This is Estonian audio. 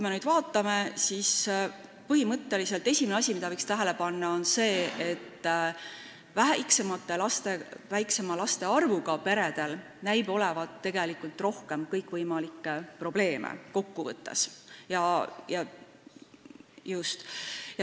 Põhimõtteliselt on esimene asi, mida võiks tähele panna, see, et väiksema laste arvuga peredel näib olevat rohkem kõikvõimalikke probleeme.